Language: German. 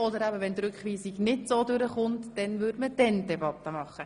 Sollte die Rückweisung nicht durchkommen, würde die Debatte danach geführt.